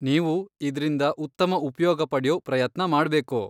ನೀವು ಇದ್ರಿಂದ ಉತ್ತಮ ಉಪ್ಯೋಗ ಪಡ್ಯೋ ಪ್ರಯತ್ನ ಮಾಡ್ಬೇಕು.